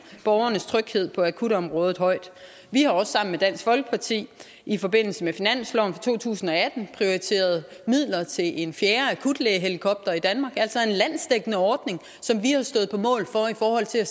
borgernes tryghed på akutområdet højt vi har også sammen med dansk folkeparti i forbindelse med finansloven for to tusind og atten prioriteret midler til en fjerde akutlægehelikopter i danmark altså en landsdækkende ordning som vi har stået på mål for i forhold til at